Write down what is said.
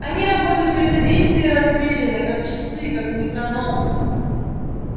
они работают методично и размеренно как часы как метроном